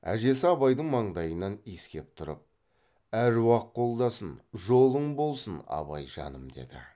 әжесі абайдың маңдайынан иіскеп тұрып әруақ қолдасын жолың болсын абайжаным деді